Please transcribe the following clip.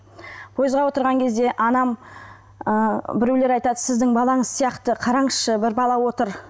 пойызға отырған кезде анам ы біреулер айтады сіздің балаңыз сияқты қараңызшы бір бала отыр